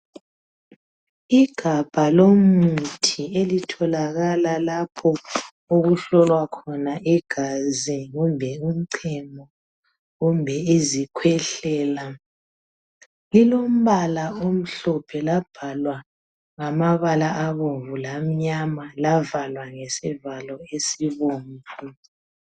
Igabha lomuthi elitholakala lapho okuhlolwa khona igazi kumbe umchemo kumbe izikhwehlela lilombala omhlophe labhalwa ngamabala abomvu lamnyama lavalwa ngesivalo esibomvu.